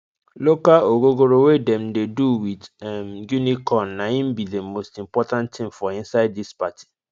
local ogogoro wey dem dey do with um guinea corn na im be the most important thing for inside this party